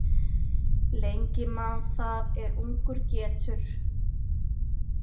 Lengi man það er ungur getur.